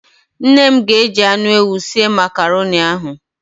Nne m ga-eji anụ ewu sie Makaroni ahụ.